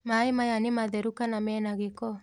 Maĩ maya nĩ matheru kana menagĩko?